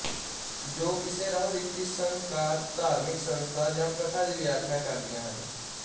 ਜੋ ਕਿਸੇ ਰਹੁਰੀਤੀ ਸੰਸਕਾਰਧਾਰਮਕ ਸੰਸਥਾ ਜਾਂ ਪ੍ਰਥਾ ਦੀ ਵਿਆਖਿਆ ਕਰਦੀਆਂ ਹਨ